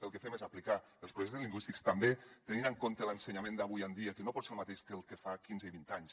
el que fem és aplicar els projectes lingüístics també tenint en compte l’ensenyament d’avui en dia que no pot ser el mateix que el de fa quinze i vint anys